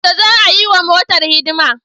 Yaushe za'a yiwa motar hidima?